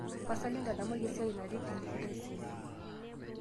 tapasali ntadamuaki esiai natii kilifi taisere